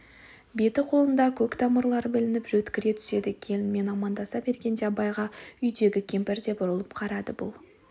беті-қолында көк тамырлары білініп жөткіре түседі келінмен амандаса бергенде абайға үйдегі кемпір де бұрылып қарады бұл